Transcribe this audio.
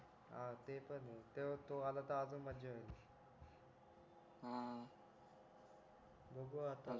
हां ते पण आहे ते तो आला तर अजून माझ्या येईल बघू आता